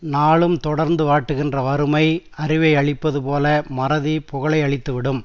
நாளும் தொடர்ந்து வாட்டுகின்ற வறுமை அறிவை அழிப்பது போல மறதி புகழை அழித்து விடும்